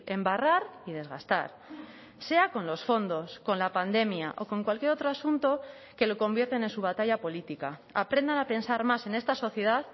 embarrar y desgastar sea con los fondos con la pandemia o con cualquier otro asunto que lo convierten en su batalla política aprendan a pensar más en esta sociedad